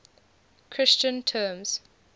christian terms